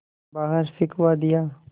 बाहर फिंकवा दिया